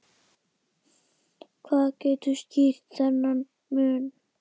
Hvað getur skýrt þennan mun?